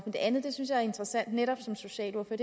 det andet synes jeg er interessant netop som socialordfører